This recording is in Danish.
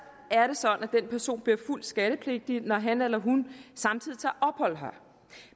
den person bliver fuldt skattepligtig når han eller hun samtidig tager ophold her